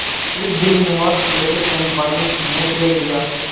एक दीर्घ निश्वास लेकर चंपा ने मुँह फेर लिया